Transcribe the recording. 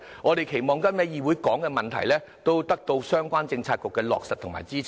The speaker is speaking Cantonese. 我們期望今天在議會提及的事宜，都得到相關政策局的落實和支持。